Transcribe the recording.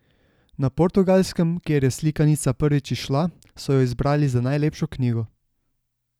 Na Portugalskem, kjer je slikanica prvič izšla, so jo izbrali za najlepšo knjigo.